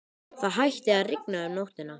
Það hætti að rigna um nóttina.